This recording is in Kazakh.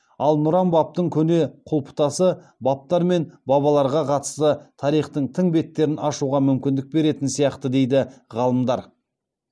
ал нұран бабтың көне құлыптасы бабтар мен бабаларға қатысты тарихтың тың беттерін ашуға мүмкіндік беретін сияқты дейді ғалымдар